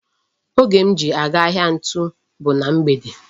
Oge m ji aga ahịa ntu bu na mgbede.